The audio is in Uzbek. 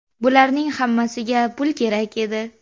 Bularning hammasiga pul kerak edi.